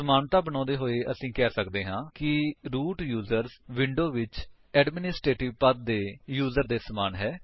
ਸਮਾਨਤਾ ਬਣਾਉਂਦੇ ਹੋਏ ਅਸੀ ਇਹ ਕਹਿ ਸਕਦੇ ਹਾਂ ਕਿ ਰੂਟ ਯੂਜਰਸ ਵਿੰਡੋਜ ਵਿੱਚ ਐਡਮਿਨਿਸਟਰੇਟਿਵ ਪਦ ਦੇ ਯੂਜਰ ਦੇ ਸਮਾਨ ਹੈ